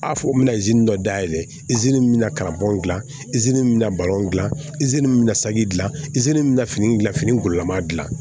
A fɔ u bɛna dɔ dayɛlɛ izini min na kalaban dilan min bɛna dilan min bɛ na saki dilan min bɛ na fini gilan fini gololama dilan